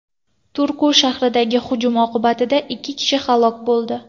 Turku shahridagi hujum oqibatida ikki kishi halok bo‘ldi.